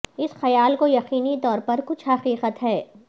اس خیال کو یقینی طور پر کچھ حقیقت ہے